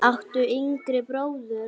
áttu yngri bróður?